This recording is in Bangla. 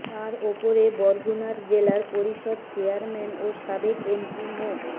তার উপরে বরগুনার জেলা পরিষদ চেয়ারম্যান ও সাবেক এমপি মো